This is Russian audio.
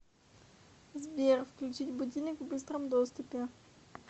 сбер включить будильник в быстром доступе